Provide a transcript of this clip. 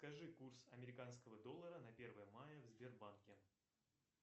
скажи курс американского доллара на первое мая в сбербанке